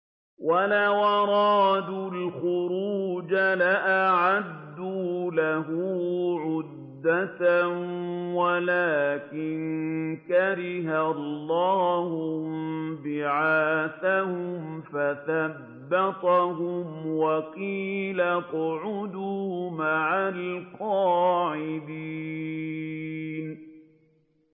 ۞ وَلَوْ أَرَادُوا الْخُرُوجَ لَأَعَدُّوا لَهُ عُدَّةً وَلَٰكِن كَرِهَ اللَّهُ انبِعَاثَهُمْ فَثَبَّطَهُمْ وَقِيلَ اقْعُدُوا مَعَ الْقَاعِدِينَ